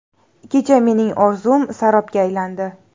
Kecha mening orzum sarobga aylandi.